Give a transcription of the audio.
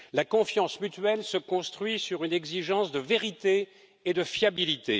La confiance mutuelle se construit sur une exigence de vérité et de fiabilité.